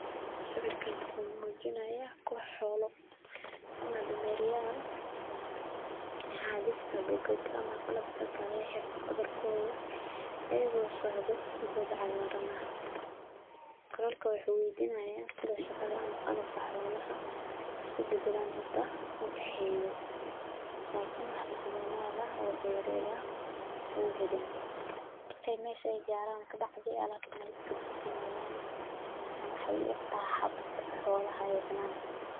Sawirkan wuxuu muujinayaa koox xoolo ah ama dameeryaal xambaarsan buugaag ama qalabka kaga xiran dabarkooda ayagoo socda goob cagaaran. Qoraalka waxa weydiinayaa sida shaqada ama qalabka xoolaha isu beddelaan inta u dhexeysa, laakiin wax macluumaad oo dheeraad ah lama helin. Markay meesha gaaraan kadib, alaabta way iska dhigayaan. Waxay u egtahay waxa xoolaha ay cunaan.